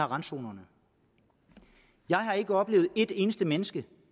randzonerne jeg har ikke oplevet et eneste menneske